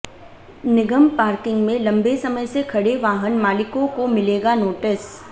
निगम parking में लंबे समय से खड़े वाहन मालिकों को मिलेगा नोटिस